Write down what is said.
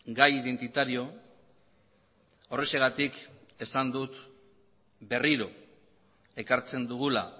gai identitario horrexegatik esan dut berriro ekartzen dugula